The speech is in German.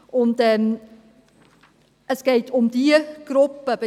Bei diesem Antrag geht es um diese Gruppe.